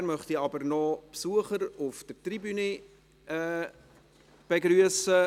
Zuvor möchte ich aber noch die Besucher auf der Tribüne begrüssen.